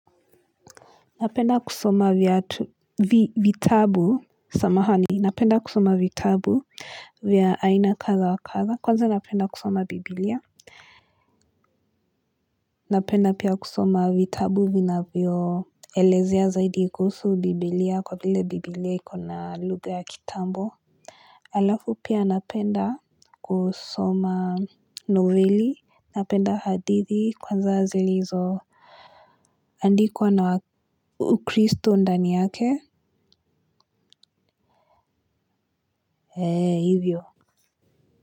Napenda kusoma viatu vitabu samahani. Napenda kusoma vitabu vya aina kadha wa kadha. Kwanza napenda kusoma biblia. Napenda pia kusoma vitabu vinavyoelezea zaidi kuhusu biblia kwa vile biblia iko na lugha ya kitambo. Halafu pia napenda kusoma noveli. Napenda hadithi kwanza zilizo andikwa na ukristo ndani yake, ee hivyo.